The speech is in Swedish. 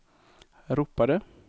ropade